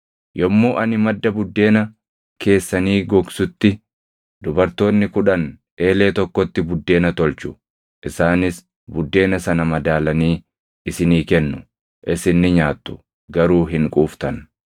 Yommuu ani madda buddeena keessanii gogsutti, dubartoonni kudhan eelee tokkotti buddeena tolchu, isaanis buddeena sana madaalanii isinii kennu; isin ni nyaattu; garuu hin quuftan.